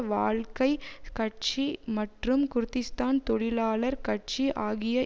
வாழ்க்கை கட்சி மற்றும் குர்திஷ்தான் தொழிலாளர் கட்சி ஆகிய